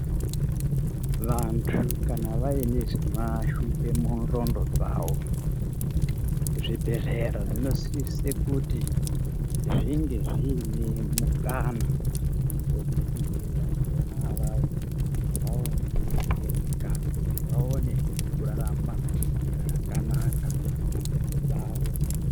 Vantu kana vaine zvinovashupa mudhlondo dzavo ,zvibhehlera zvinosise kuti zvinge zviine mukana wekuti vantu vonavawo vaone kudetsereka kuti vaonehe kurarama zvakanaka mudzendo dzawo.